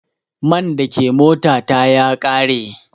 Man da ke mota ta ya ƙare.